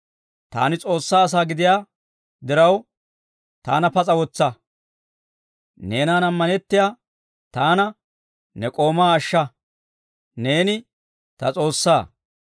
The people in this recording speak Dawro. Taani S'oossaa asaa gidiyaa diraw, taana pas'a wotsa. Neenan ammanettiyaa taana, ne k'oomaa ashsha. Neeni ta S'oossaa.